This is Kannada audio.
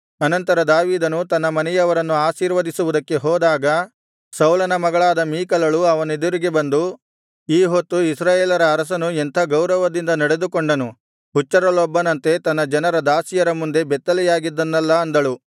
ಅನಂತರ ದಾವೀದನು ತನ್ನ ಮನೆಯವರನ್ನು ಆಶೀರ್ವದಿಸುವುದಕ್ಕೆ ಹೋದಾಗ ಸೌಲನ ಮಗಳಾದ ಮೀಕಲಳು ಅವನೆದುರಿಗೆ ಬಂದು ಈ ಹೊತ್ತು ಇಸ್ರಾಯೇಲರ ಅರಸನು ಎಂಥ ಗೌರವದಿಂದ ನಡೆದುಕೊಂಡನು ಹುಚ್ಚರಲ್ಲೊಬ್ಬನಂತೆ ತನ್ನ ಜನರ ದಾಸಿಯರ ಮುಂದೆ ಬೆತ್ತಲೆಯಾಗಿದ್ದನಲ್ಲಾ ಅಂದಳು